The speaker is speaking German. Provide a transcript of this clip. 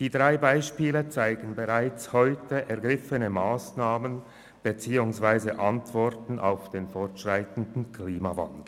Die drei Beispiele zeigen bereits heute ergriffene Massnahmen beziehungsweise Antworten auf den fortschreitenden Klimawandel.